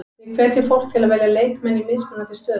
Við hvetjum fólk til að velja leikmenn í mismunandi stöðum.